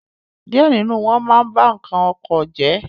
díẹ̀ nínú wọn ma ń ba nǹkan oko jẹ́.